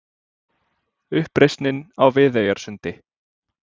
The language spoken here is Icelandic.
Uppreisnin á Viðeyjarsundi.